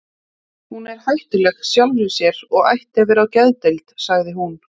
Hún er hættuleg sjálfri sér og ætti að vera á geðdeild, sagði hún.